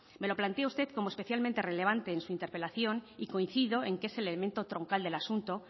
me lo planteo usted como especialmente relevante en su interpelación y coincido en que es el elemento troncal del asunto